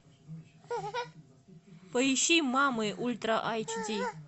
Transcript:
поищи мамы ультра эйч ди